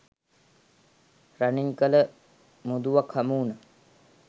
රනින් කළ මුදුවක් හමුවුණ